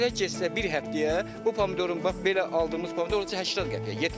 Belə getsə bir həftəyə bu pomidorun bax belə aldığımız pomidor olacaq 80 qəpiyə, 70 qəpiyə.